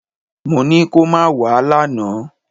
Mo ní kó má wẹ̀ lánàá!